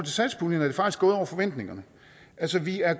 satspuljen er det faktisk gået over forventningerne altså vi er